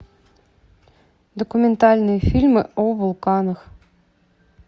документальные фильмы о вулканах